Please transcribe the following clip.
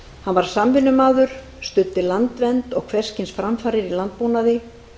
hann var samvinnumaður studdi landvernd og hvers kyns framfarir í landbúnaði